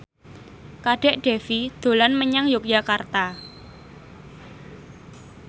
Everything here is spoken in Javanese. Kadek Devi dolan menyang Yogyakarta